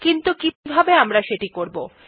কিন্তু কিভাবে আমরা এটি করবো160